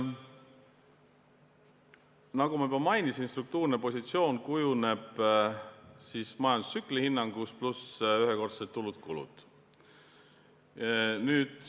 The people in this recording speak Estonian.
Nagu ma juba mainisin, struktuurne positsioon kujuneb koosmõjus majandustsükli hinnanguga, pluss ühekordsed tulud-kulud.